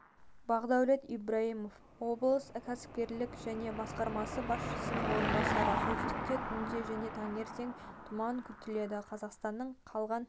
бақдәулет ибраимов облыстық кәсіпкерлік және басқармасы басшысының орынбасары солтүстікте түнде және таңертең тұман күтіледі қазақстанның қалған